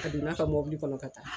A don ne ka mɔbili kɔnɔ ka taa.